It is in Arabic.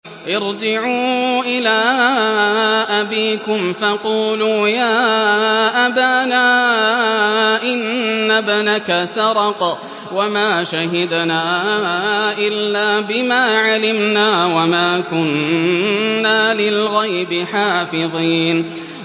ارْجِعُوا إِلَىٰ أَبِيكُمْ فَقُولُوا يَا أَبَانَا إِنَّ ابْنَكَ سَرَقَ وَمَا شَهِدْنَا إِلَّا بِمَا عَلِمْنَا وَمَا كُنَّا لِلْغَيْبِ حَافِظِينَ